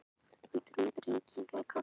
Og Drumburinn kinkaði kolli.